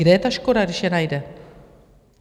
Kde je ta škoda, když je najde?